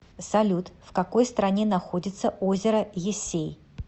салют в какой стране находится озеро ессей